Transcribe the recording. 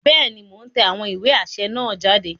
Bẹẹni, Mo n tẹ awọn iwe aṣẹ naa jáde